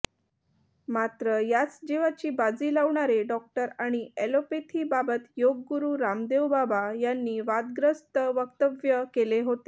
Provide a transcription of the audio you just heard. मात्र याच जिवाची बाजी लावणारे डॉक्टर आणि अॅलोपॅथीबाबत योगगुरु रामदेवबाबा यांनी वादग्रस्त वक्तव्य केले होते